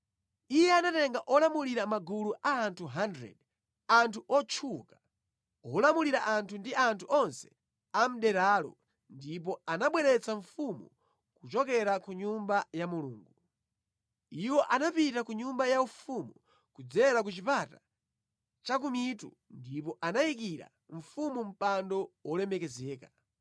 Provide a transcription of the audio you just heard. Iye anatenga olamulira magulu a anthu 100, anthu otchuka, olamulira anthu ndi anthu onse a mʼderalo ndipo anabweretsa mfumu kuchokera ku Nyumba ya Mulungu. Iwo anapita ku nyumba yaufumu kudzera ku Chipata Chakumitu ndipo anayikira mfumu mpando wolemekezeka,